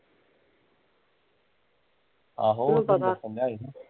ਆਹੋ